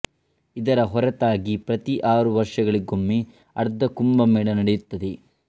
ಇದರ ಹೊರತಾಗಿ ಪ್ರತಿ ಆರು ವರ್ಷಗಳಿಗೊಮ್ಮೆ ಅರ್ಧ ಕುಂಭಮೇಳ ನಡೆಯುತ್ತದೆ